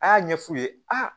A y'a ɲɛ f'u ye aa